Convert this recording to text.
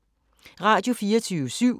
Radio24syv